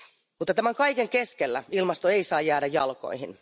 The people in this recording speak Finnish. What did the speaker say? Mutta tämän kaiken keskellä ilmasto ei saa jäädä jalkoihin.